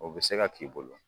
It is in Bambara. O bɛ se ka k'i bolo.